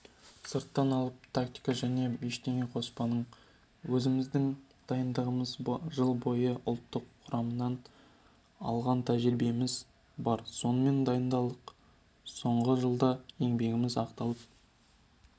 сырттан алып тактика жаңа ештеңе қоспадық өзіміздің дайындығымыз жыл бойы ұлттық құрамнан алған тәжірибеміз бар сонымен дайындалдық соңғы жылда еңбегіміз ақталып